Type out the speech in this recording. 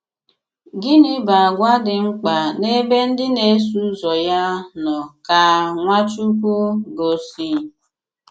Gịnị̀ bụ àgwà dị mkpa n’ebe ndị na-eso ụzọ̀ ya nọ̀ ka Nwachukwu gọ̀sì?